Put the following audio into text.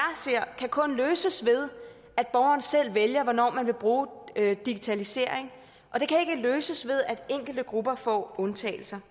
ser kan kun løses ved at borgeren selv vælger hvornår hun vil bruge digitalisering og det kan ikke løses ved at enkelte grupper får undtagelser